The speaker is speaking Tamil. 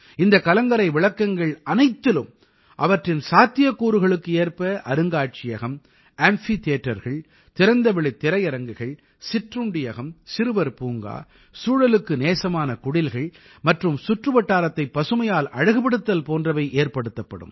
இந்தக் கலங்கரை விளக்கங்கள் அனைத்திலும் அவற்றின் சாத்தியக்கூறுகளுக்கு ஏற்ப அருங்காட்சியகம் அம்பி theatreகள் திறந்தவெளித் திரையரங்குகள் சிற்றுண்டியகம் சிறுவர் பூங்கா சூழலுக்கு நேசமான குடில்கள் மற்றும் சுற்றுவட்டாரத்தைப் பசுமையால் அழகுபடுத்தல் போன்றவை ஏற்படுத்தப்படும்